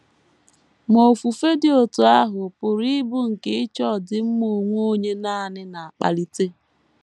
Ma ofufe dị otú ahụ pụrụ ịbụ nke ịchọ ọdịmma onwe onye nanị na - akpalite.